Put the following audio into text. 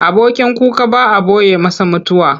Abokin kuka ba a ɓoye masa mutuwa.